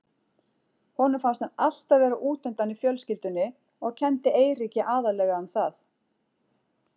Honum fannst hann alltaf vera út undan í fjölskyldunni og kenndi Eiríki aðallega um það.